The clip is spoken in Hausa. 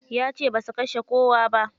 Yace basu kashe kowa ba.